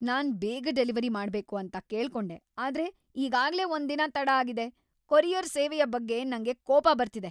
ನಾನ್ ಬೇಗ ಡೆಲಿವರಿ ಮಾಡ್ಬೇಕು ಅಂತ ಕೇಳ್ಕೊಂಡೆ ಆದ್ರೆ ಈಗಾಗ್ಲೇ ಒಂದ್ ದಿನ ತಡ ಆಗಿದೆ.! ಕೊರಿಯರ್ ಸೇವೆಯ ಬಗ್ಗೆ ನಂಗೆ ಕೋಪ ಬರ್ತಿದೆ.